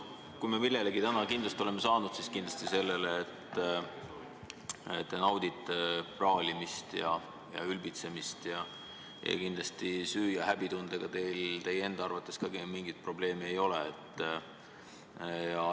Kui me millelegi täna kinnitust oleme saanud, siis sellele, et te naudite praalimist ja ülbitsemist ning et süü- ja häbitundega teil enda arvates mingisugust probleemi ei ole.